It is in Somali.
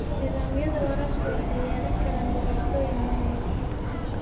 Nidaamyada waraabka waxay yeelan karaan dhibaatooyin maamul.